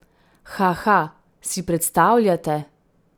Haha, si predstavljate?